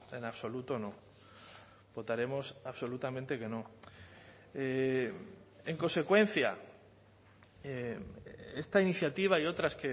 en absoluto no votaremos absolutamente que no en consecuencia esta iniciativa y otras